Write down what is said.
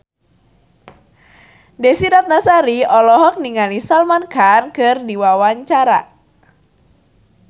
Desy Ratnasari olohok ningali Salman Khan keur diwawancara